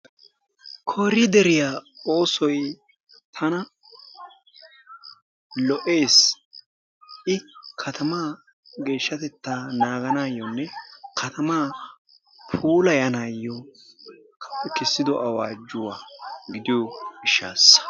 Korideeriyaa ossoy tana lo'ees. I kattammaa geeshshatettaa naganayonne kattamaa puulayanayokka keessido awajjuwaa gidiyoo gishasaa.